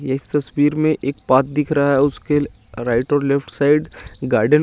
ये इस तस्वीर में एक पाथ दिख रहा है उसके राईट और लेफ्ट साइड गार्डन --